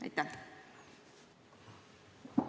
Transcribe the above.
Aitäh!